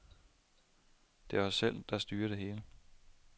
Det er os selv, der styrer det hele.